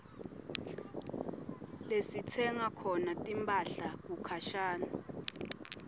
lasitsenga khona timphahla kukhashane